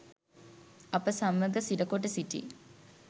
අප සමග සිරකොට සිටි